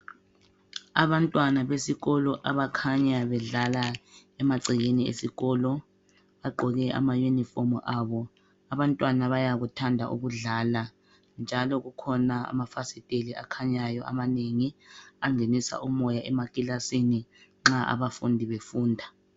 Abantwana besikolo abakhanya bedlala emagcekeni esikolo bagqoke amayunifomu abo .Abantwana bayakuthanda ukudlala njalo kukhona amafasiteli akhanyayo amanengi angenisa umoya emakilasini nxa abafundi befunda.